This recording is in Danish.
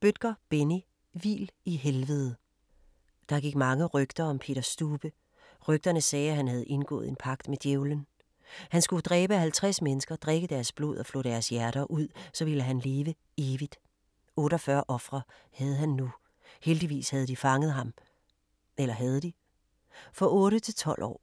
Bødker, Benni: Hvil i helvede Der gik mange rygter om Peter Stube. Rygterne sagde, han havde indgået en pagt med Djævelen. Han skulle dræbe 50 mennesker, drikke deres blod og flå deres hjerter ud, så ville han leve evigt. 48 ofre havde han nu. Heldigvis havde de fanget ham. Eller havde de? For 8-12 år.